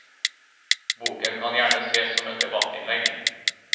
Boken kan gjerne ses som et debattinnlegg.